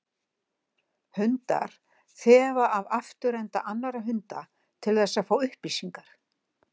Hundar þefa af afturenda annarra hunda til þess að fá upplýsingar.